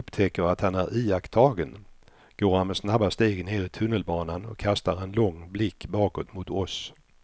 När han upptäcker att han är iakttagen går han med snabba steg ner i tunnelbanan och kastar en lång blick bakåt mot oss.